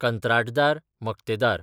कंत्राटदार, मक्तेदार